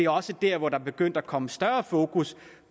også der hvor der begyndte at komme større fokus